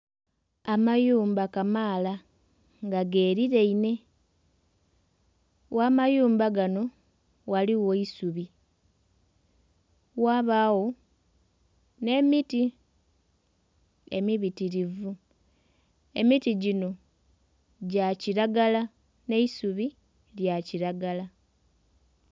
Amayumba kamaala nga ge lirainhe gha mayumba gano ghaligho eisubi, ghabagho ne emiti emibitirivu, emiti gyino gya kiragala ne eisubi lya kilagala.